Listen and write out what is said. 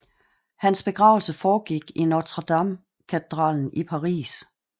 Hans begravelse foregik i Notre Dame katedralen i Paris